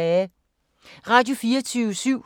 Radio24syv